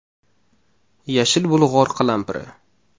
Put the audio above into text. Yashil bulg‘or qalampiri.